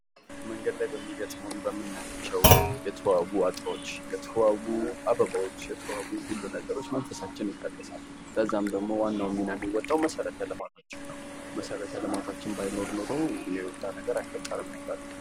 መንገድ ላይ በምናያቸው በሚገጥሙን የተዋቡ አበቦች የተዋቡ አበቦች የተባሉ ሁሉ ነገሮች መንፈሳችን የታደሰል በዛም ዋናውን ሚና የሚወጣው መሰረተ ልማቶች ነው ።መሰረተ ልማታችን ባይኖር ኖሮ ይሄ የሁሉ ነገር አይፈጠርም ነበር።